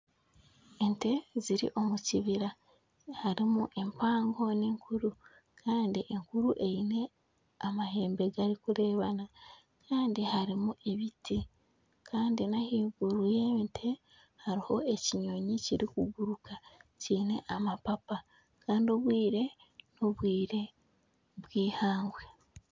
Ente ziri omu kibira aharimu empango n'enkuru kandi enkuru eine amahembe garikureebana kandi harimu ebiti kandi n'ahaiguru y'ente hariho ekiyonyi kirikuguruka kiine amapapa kandi obwire n'obwire bw'eihangwe.